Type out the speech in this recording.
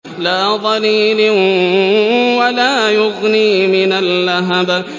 لَّا ظَلِيلٍ وَلَا يُغْنِي مِنَ اللَّهَبِ